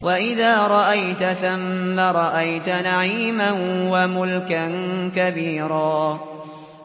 وَإِذَا رَأَيْتَ ثَمَّ رَأَيْتَ نَعِيمًا وَمُلْكًا كَبِيرًا